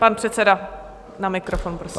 Pan předseda na mikrofon, prosím.